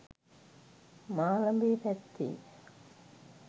මාලඹේ පැත්තේ.